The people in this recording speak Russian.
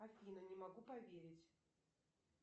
афина не могу поверить